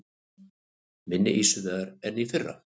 Minni ýsuveiði en í fyrra